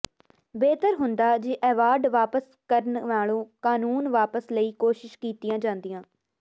ਬਿਹਤਰ ਹੁੰਦਾ ਜੇ ਐਵਾਰਡ ਵਾਪਸ ਕਰਨ ਨਾਲੋਂ ਕਾਨੂੰਨ ਵਾਪਸ ਲਈ ਕੋਸ਼ਿਸ਼ਾਂ ਕੀਤੀਆਂ ਹੁੰਦੀਆਂ